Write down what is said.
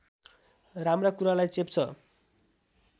राम्रा कुरालाई चेप्छ